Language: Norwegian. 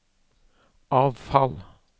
avfall